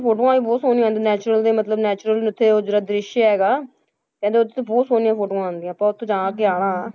ਫੋਟੋਆਂ ਵੀ ਬਹੁਤ ਸੋਹਣੀਆਂ ਆਉਂਦੀਆਂ natural ਦੇ ਮਤਲਬ natural ਉੱਥੇ ਉਹ ਜਿਹੜਾ ਦ੍ਰਿਸ਼ ਹੈਗਾ, ਕਹਿੰਦੇ ਉੱਥੇ ਤਾਂ ਬਹੁਤ ਸੋਹਣੀਆਂ ਫੋਟੋਆਂ ਆਉਂਦੀਆਂ ਆਪਾਂ ਉੱਥੇ ਜਾ ਕੇ ਆਉਣਾ,